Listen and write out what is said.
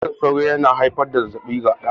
Cizon sauro yana haifar da zazzabi ga dan adam